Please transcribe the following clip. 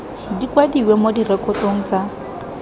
di kwadiwe mo direkotong tsa